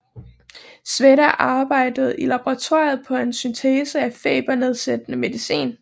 Sveda arbejdede i laboratoriet på en syntese af febernedsættende medicin